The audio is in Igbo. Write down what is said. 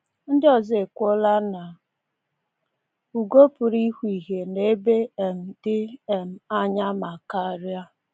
Ndị ọzọ ekwuola na ugo pụrụ ịhụ ihe nọ ebe um dị um anya ma karịa!